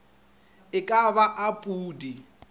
e ka ba a pudi